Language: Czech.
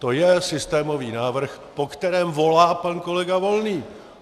To je systémový návrh, po kterém volá pan kolega Volný.